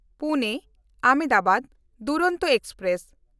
ᱯᱩᱱᱮ-ᱟᱦᱚᱢᱫᱟᱵᱟᱫ Duronto express